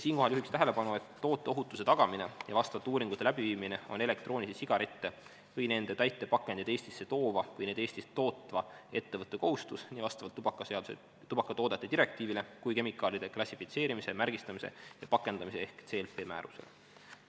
" Siinkohal juhiks tähelepanu, et tooteohutuse tagamine ja vastavate uuringute läbiviimine on elektroonilisi sigarette või nende täitepakendeid Eestisse toova või neid Eestis tootva ettevõtte kohustus nii vastavalt tubakatoodete direktiivile kui ka kemikaalide klassifitseerimise, märgistamise ja pakendamise ehk CLP-määrusele.